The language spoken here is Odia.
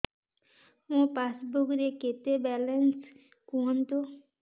ମୋ ପାସବୁକ୍ ରେ କେତେ ବାଲାନ୍ସ କୁହନ୍ତୁ